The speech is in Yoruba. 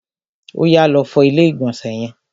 Oyà, lọ fọ ilé ìgbọ̀nsẹ̀ yẹn!